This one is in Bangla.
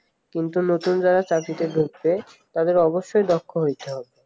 কিন্তু নতুন জায়গায় চাকরিতে ঢুকতে তাদেরকে অবশ্যই দক্ষ হইতে হবে